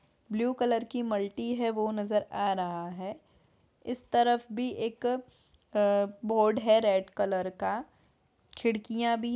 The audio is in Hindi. ब्लू कलर की मल्टी है वो नज़र आ रहा है इस तरफ भी एक अ बोर्ड है रेड कलर का खिड़कियां भी --